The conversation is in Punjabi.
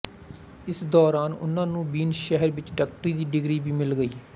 ਇਸ ਦੌਰਾਨ ਉਨ੍ਹਾਂ ਨੂੰ ਵੀਨ ਸ਼ਹਿਰ ਵਿੱਚ ਡਾਕਟਰੀ ਦੀ ਡਿਗਰੀ ਵੀ ਮਿਲ ਗਈ